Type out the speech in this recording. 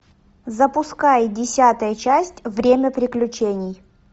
запускай десятая часть время приключений